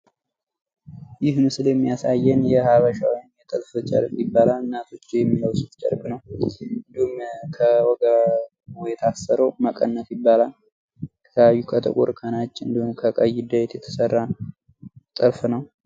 ይህ ምስል የሚያሳየን የሃበሻ ወይም የጥልፍ ጨርቅ ይባላል እናቶች የሚለብሱት ጨርቅ ነው። እንዲሁም ከወገቡ የታሰረው መቀነት ይባላል ከጥቁር፥ ከነጭ እንዲሁም ከቀይ የተሰራ ነው ጥልፍ ነው።